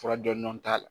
Fura jɔndɔn t'a la